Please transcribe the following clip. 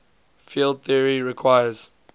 field theory requires